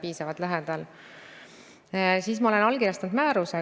Eestis on tehtud lühemaid ja pikemaid rahvastikuprognoose, pikim on isegi aastani 2080.